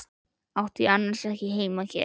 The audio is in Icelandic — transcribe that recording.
Átti ég annars ekki heima hér?